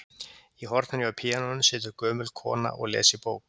Í horninu hjá píanóinu situr gömul kona og les í bók.